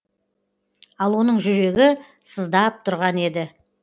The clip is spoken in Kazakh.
ал оның жүрегі сыздап тұрған еді